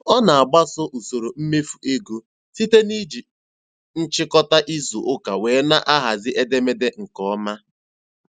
Ọ na-agbaso usoro mmefu ego site na iji nchịkọta izu ụka wee na-ahazi edemede nke ọma.